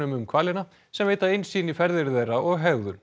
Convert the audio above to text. um hvalina sem veita innsýn í ferðir þeirra og hegðun